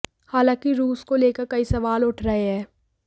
हालांकि रूस को लेकर कई सवाल उठ रहे हैं